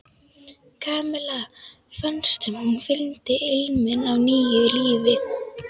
Kamilla fannst sem hún fyndi ilminn af nýju lífi.